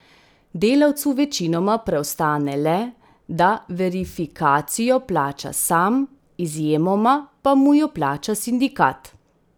Delavcu večinoma preostane le, da verifikacijo plača sam, izjemoma pa mu jo plača sindikat.